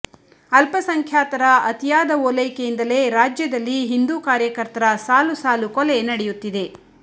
ಅಲ್ಪಸಂಖ್ಯಾತರ ಅತೀಯಾದ ಓಲೈಕೆಯಿಂದಲೇ ರಾಜ್ಯದಲ್ಲಿ ಹಿಂದೂ ಕಾರ್ಯಕರ್ತರ ಸಾಲು ಸಾಲು ಕೊಲೆ ನಡೆಯುತ್ತಿದೆ